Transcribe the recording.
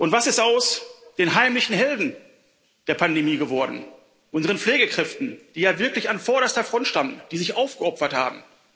Was ist aus den heimlichen Helden der Pandemie geworden, unseren Pflegekräften, die ja wirklich an vorderster Front standen, die sich aufgeopfert haben?